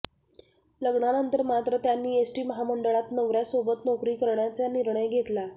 लग्नानंतर मात्र त्यांनी एसटी महामंडळात नवऱ्यासोबत नोकरी करण्याचा निर्णय घेतला